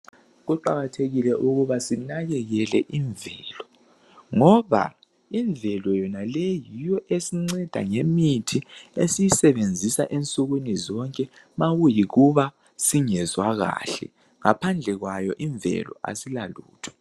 Kuqakathekile ukuba sinakelele imvelo. Ngoba imvelo yonaleyi yiyo esinceda ngemithi esiyisebenzisa nxa singezwa kuhle. Ngaphandle kwayo imvelo asilalutho.